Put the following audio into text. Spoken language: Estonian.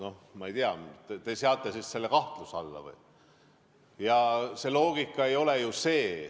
No ma ei tea, kas te seate siis selle kahtluse alla või?